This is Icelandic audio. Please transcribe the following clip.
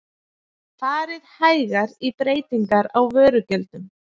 Farið hægar í breytingar á vörugjöldum